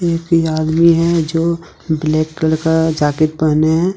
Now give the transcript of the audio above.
एक ये आदमी है जो ब्लैक कलर का जैकेट पहने है।